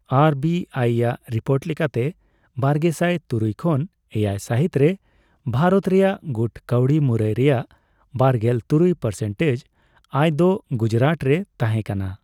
R B I ᱟᱜ report ᱞᱮᱠᱟᱛᱮ, ᱵᱟᱨᱜᱮᱥᱟᱭ ᱛᱩᱨᱩᱭ ᱠᱷᱚᱱ ᱮᱭᱟᱭ ᱥᱟᱹᱦᱤᱛ ᱨᱮ ᱵᱷᱟᱨᱚᱛ ᱨᱮᱭᱟᱜ ᱜᱩᱴ ᱠᱟᱹᱣᱰᱤ ᱢᱩᱨᱟᱹᱭ ᱨᱮᱭᱟᱜ ᱵᱟᱨᱜᱮᱞ ᱛᱩᱨᱩᱭ ᱯᱟᱴᱥᱮᱱᱴᱮᱡᱽ ᱟᱭ ᱫᱚ ᱜᱩᱡᱽᱨᱟᱴ ᱨᱮ ᱛᱟᱦᱮᱸᱠᱟᱱᱟ ᱾